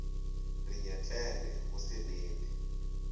re nyetlele go se nene